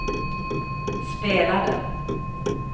spelade